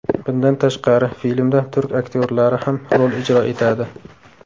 Bundan tashqari filmda turk aktyorlari ham rol ijro etadi.